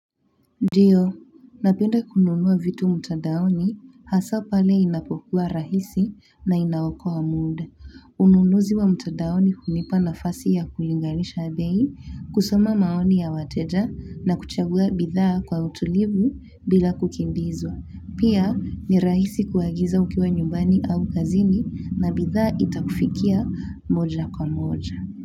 Ndio napenda kununua vitu mtandaoni hasa pale inapokua rahisi na inaokoa muda ununuzi wa mtadaoni hunipa nafasi ya kulinganisha bei, kusoma maoni ya wateja na kuchagua bidhaa kwa utulivu bila kukimbizwa. Pia ni rahisi kuagiza ukiwa nyumbani au ofisini na bidhaa itakufikia moja kwa moja.